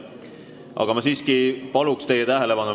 Aga ma siiski palun veel teie tähelepanu.